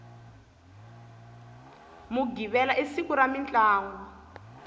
mughivela i siku ra mintlangu